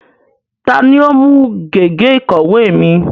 Ta ni ó mú gègé ìkọ̀wé mi?